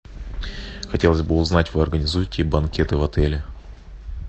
хотелось бы узнать вы организуете банкеты в отеле